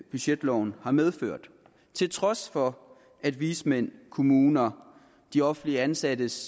budgetloven har medført til trods for at vismænd kommuner de offentligt ansattes